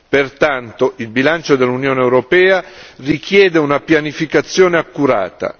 Pertanto, il bilancio dell'Unione europea richiede una pianificazione accurata.